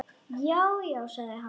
Já, já sagði hann.